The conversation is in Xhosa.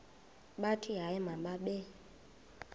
bathi hayi mababe